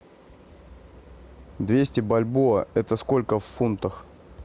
двести бальбоа это сколько в фунтах